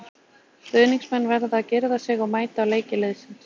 Stuðningsmenn verða að girða sig og mæta á leiki liðsins.